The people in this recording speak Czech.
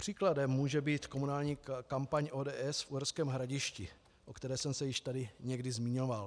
Příkladem může být komunální kampaň ODS v Uherském Hradišti, o které jsem se již tady někdy zmiňoval.